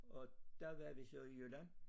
Og der var vi så i Jylland